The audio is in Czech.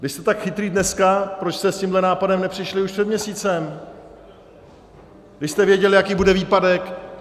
Když jste tak chytří dnes, proč jste s tímhle nápadem nepřišli už před měsícem, když jste věděli, jaký bude výpadek?